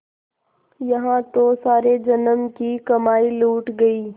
यहाँ तो सारे जन्म की कमाई लुट गयी